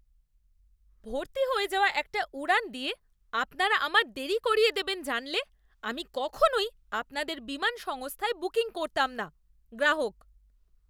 ভর্তি হয়ে যাওয়া একটা উড়ান দিয়ে আপনারা আমার দেরি করিয়ে দেবেন জানলে আমি কখনওই আপনাদের বিমান সংস্থায় বুকিং করতাম না। গ্রাহক